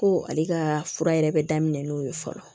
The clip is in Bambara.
Ko ale ka fura yɛrɛ bɛ daminɛ n'o ye fɔlɔ